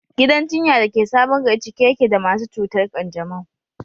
Gidan jinya da ke Sabon Gari cike yake da masu cutar kanjamau.